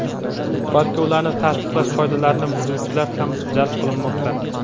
balki ularni taqish qoidalarini buzuvchilar ham jalb qilmoqda.